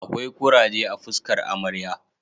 Akwai kuraje a fuskar amarya